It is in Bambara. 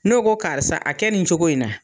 N'o ko karisa a kɛ nin cogo in na